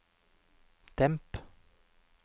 demp